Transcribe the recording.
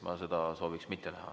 Ma seda ei sooviks näha.